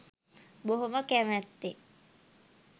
බොහොම කැමැත්තෙන්